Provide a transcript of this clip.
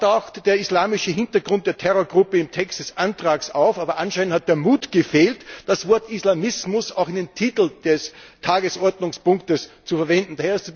Zwar taucht der islamische Hintergrund der Terrorgruppe im Text des Antrags auf, aber anscheinend hat der Mut gefehlt, das Wort Islamismus auch in den Titel des Tagesordnungspunktes aufzunehmen.